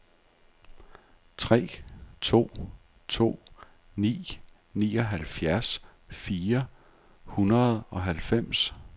tre to to ni nioghalvfjerds fire hundrede og halvfems